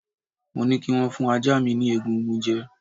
Mo ní kī wón fún ajá mi ni egungun jẹ